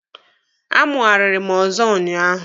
A mụariri mụ ọzọ ụnyaahụ.